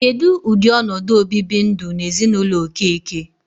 Kedụ ụdị ọnọdụ o bibi ndụ n'ezinụlọ Okeke?